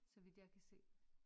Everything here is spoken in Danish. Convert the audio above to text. Så vidt jeg kan se